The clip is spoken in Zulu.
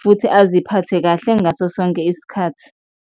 futhi aziphathe kahle ngaso sonke isikhathi.